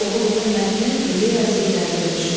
Oxuduğun mətnin ideyası üzərində düşün.